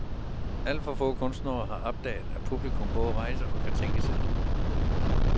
Alt for få kunstnere har opdaget, at publikum både rejser og kan tænke selv.